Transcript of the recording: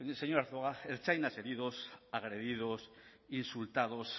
señor arzuaga ertzainas heridos agredidos insultados